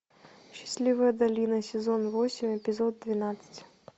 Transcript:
счастливая долина сезон восемь эпизод двенадцать